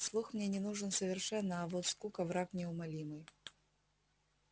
слух мне не нужен совершенно а вот скука враг неумолимый